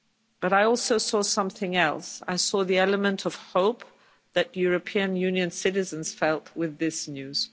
But I also saw something else, I saw the element of hope that European Union citizens felt with this news.